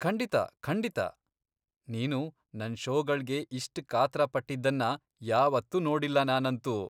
ಖಂಡಿತ ಖಂಡಿತ, ನೀನು ನನ್ ಷೋಗಳ್ಗೆ ಇಷ್ಟ್ ಕಾತ್ರ ಪಟ್ಟಿದ್ದನ್ನ ಯಾವತ್ತೂ ನೋಡಿಲ್ಲ ನಾನಂತೂ!